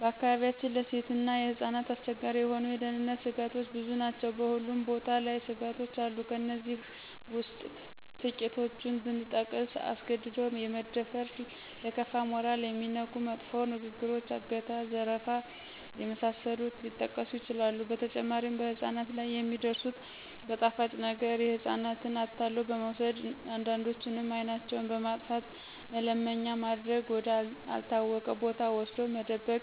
በአካባቢያችን ለሴቶችና ህጻናት አስቸጋሪ የሆኑ የደህንነተ ስጋቶች ብዙ ናቸው በሁሉም ቦታ ላይ ስጋቶች አሉ ከእነዚህ ውስጥ ትቂቶቹን ብጠቅስ አስገድዶ የመድፈር :ለከፋ :ሞራልን የሚነኩ መጥፎ ንግግሮች :አገታ :ዝርፊያ የመሳሰሉት ሊጠቀሱ ይችላሉ በተጨማሪም በህጻናት ላይ የሚደርሱት በጣፋጭ ነገረ ህጻናትን አታሎ በመውሰድ አንዳንዶችንም አይናቸውን በማጥፋተ መለመኛ ማድረግ ወደ አልታወቀ ቦታ ወስዶ መደበቅ